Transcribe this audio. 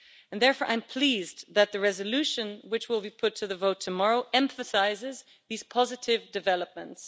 Therefore, I'm pleased that the resolution, which will be put to the vote tomorrow, emphasises these positive developments.